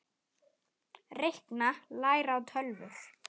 Reikna- læra á tölvur